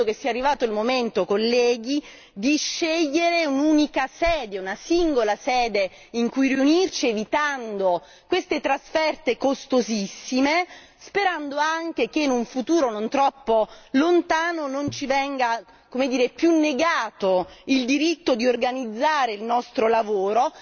Io credo che sia arrivato il momento colleghi di scegliere un'unica sede, una singola sede in cui riunirci evitando queste trasferte costosissime, sperando anche che in un futuro non troppo lontano non ci venga più negato il diritto di organizzare il nostro lavoro,